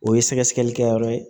O ye sɛgɛsɛgɛlikɛyɔrɔ ye